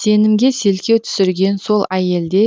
сенімге селкеу түсірген сол әйелде